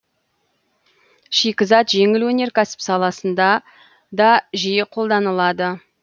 шикізат жеңіл өнеркәсіп саласында да жиі қолданылады